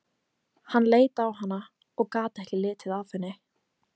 Hann leit á hana og gat ekki litið af henni.